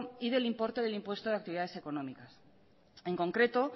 y del importe del impuesto de actividades económicas en concreto